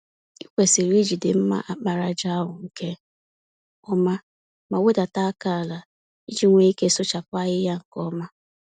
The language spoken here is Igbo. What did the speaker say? Ịkwesịrị ijide mma àkpàràjà ahụ nke ọma, ma wedata àkà àlà, iji nwee ike sụchapụ ahịhịa nke ọma.